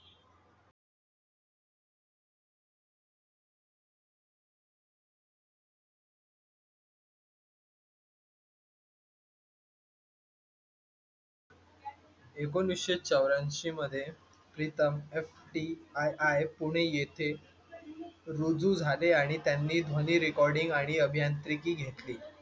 एकोणिसशे चौरयाऐशी मध्ये प्रीतम FTII पुणे येथे रुजू झाले आणि त्यांनी ध्वनि recording आणि अभियांत्रिकी घेतली